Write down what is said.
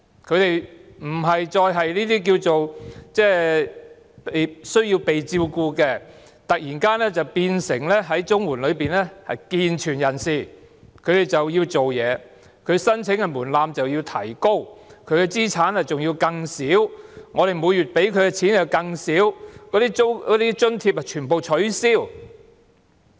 他們不再是需要照顧的人，突然變成在綜援政策下的健全人士，需要工作，而綜援的申請門檻要提高，資產上限要更低，政府每月提供的金額要更少，津貼則全部取消。